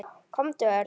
Komdu, Örn.